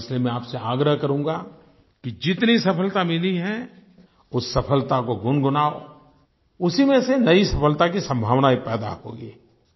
और इसलिए मैं आप से आग्रह करूँगा कि जितनी सफलता मिली है उस सफलता को गुनगुनाओ उसी में से नयी सफलता की संभावनायें पैदा होंगी